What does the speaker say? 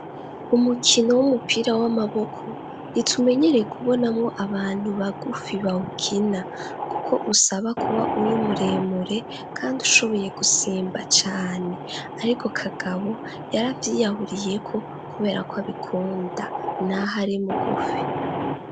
Umukino w'umupira w'amaboko nitumenyereye kubonamwo abantu bagufi bawukina kuko usaba kuba uri muremure kandi ushoboye gusimba cane ariko Kagabo yaravyiyahuriyeko kubera ko abikunda naho ari mugufi.